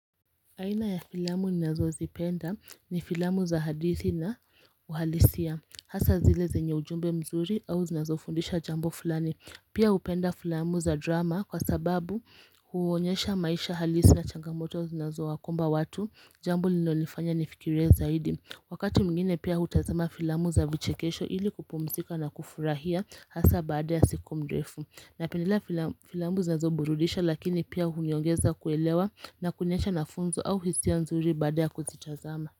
Aina ya filamu ninazozipenda ni filamu za hadithi na uhalisia. Hasa zile zenye ujumbe mzuri au zinazofundisha jambo fulani. Pia hupenda filamu za drama kwa sababu huonyesha maisha halisi na changamoto zinazowakumba watu, jambo lilinonifanya nifikirie zaidi. Wakati mwingine pia hutazama filamu za vichekesho ili kupumzika na kufurahia Hasa baada ya siku mrufu. Napendelea filamu zinazoburudisha lakini pia huniongeza kuelewa na kuniacha na funzo au hisia nzuri badaa ya kuzitazama.